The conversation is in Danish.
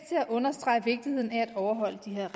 at understrege vigtigheden af at overholde de her